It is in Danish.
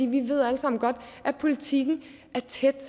vi ved alle sammen godt at politikken er tæt